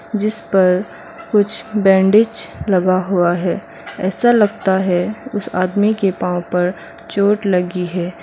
जिस पर कुछ बैंडीज लगा हुआ है ऐसा लगता है उस आदमी के पांव पर चोट लगी है।